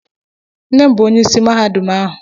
Nne m bụ onyeisi mahadum ahụ.